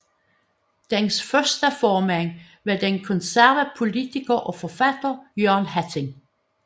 Dens første formand var den konservative poliitker og forfatter Jørgen Hatting